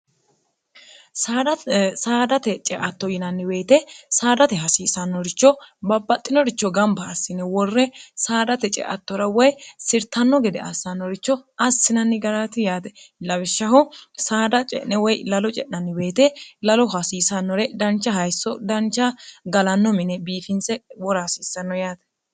saadate ceatto yinanniweyete saadate hasiisannoricho babbaxxinoricho gamba hassine worre saadate ceattora woy sirtanno gede assannoricho assinanni garati yaate lawishshaho saada ce'ne woy lalo ce'nanni beete lalo hasiisannore dancha hayisso dancha galanno mine biifintse worahasiissanno yaate